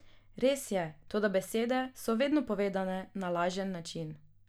Res je, toda besede so vedno povedane na lažen način.